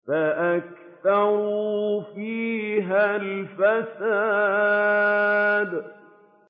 فَأَكْثَرُوا فِيهَا الْفَسَادَ